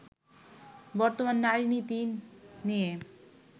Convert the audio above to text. বর্তমান নারী-নীতি নিয়ে